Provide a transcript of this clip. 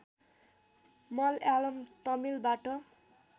Malayalam तमिलबाट